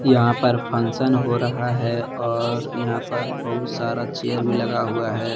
यहां पर फंक्शन हो रहा है और यहां पर बहुत सारा चेयर भी लगा हुआ है।